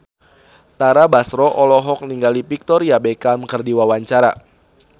Tara Basro olohok ningali Victoria Beckham keur diwawancara